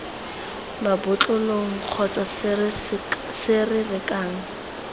mabotlolong kgotsa se se rekang